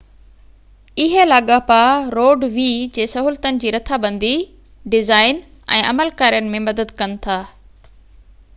اهي لاڳاپا روڊ وي جي سهولتن جي رٿابندي ڊزائين ۽ عمل ڪارين ۾ مدد ڪن ٿا